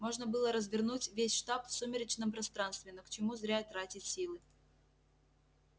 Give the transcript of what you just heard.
можно было развернуть весь штаб в сумеречном пространстве но к чему зря тратить силы